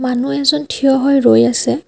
মানু্হ এজন থিয় হৈ ৰৈ আছে।